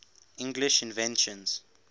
english inventions